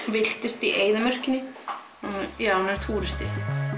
villtist í eyðimörkinni já hún er túristi